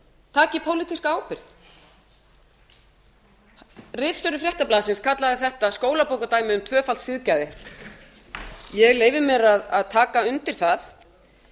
taki pólitíska ábyrgð ritstjóri fréttablaðsins kallaði þetta skólabókardæmi um tvöfalt siðgæði ég leyfi mér að taka undir það